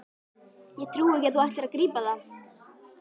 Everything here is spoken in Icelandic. Ég trúi ekki að þú ætlir ekki að grípa það!